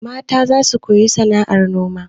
Mata za su koyi sana'ar noma.